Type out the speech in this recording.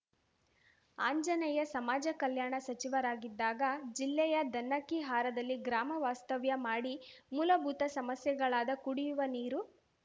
ಅಂಜನೇಯ ಸಮಾಜ ಕಲ್ಯಾಣ ಸಚಿವರಾಗಿದ್ದಾಗ ಜಿಲ್ಲೆಯ ದನ್ನಕ್ಕಿಹಾರದಲ್ಲಿ ಗ್ರಾಮ ವಾಸ್ತವ್ಯ ಮಾಡಿ ಮೂಲಭೂತ ಸಮಸ್ಯೆಗಳಾದ ಕುಡಿಯುವ ನೀರು